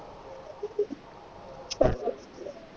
ਅੱਛਾ